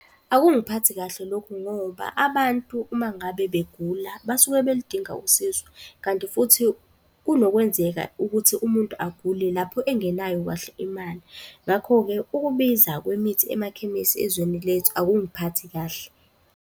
Akungiphathi kahle lokhu ngoba abantu uma ngabe begula basuke beludinga usizo. Kanti futhi kunokwenzeka ukuthi umuntu agule lapho engenayo kahle imali. Ngakho-ke ukubiza kwemithi emakhemisi ezweni lethu akungiphathi kahle.